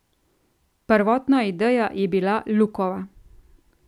Prvotna ideja je bila Lukova.